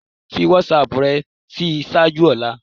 Fi WhatsApp rẹ ṣii ṣaaju ọla